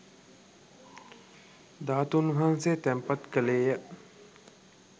ධාතූන් වහන්සේ තැන්පත් කෙළේය.